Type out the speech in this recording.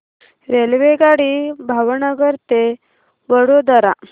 रेल्वेगाडी भावनगर ते वडोदरा